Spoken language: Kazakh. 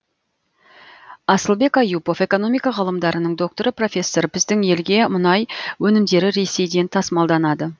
асылбек аюпов экономика ғылымдарының докторы профессор біздің елге мұнай өнімдері ресейден тасымалданады